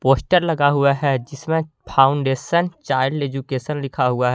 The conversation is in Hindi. पोस्टर लगा हुआ है जिस में फाउंडेशन चाइल्ड एजुकेशन लिखा हुआ है।